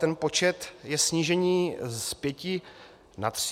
Ten počet je snížení z pěti na tři.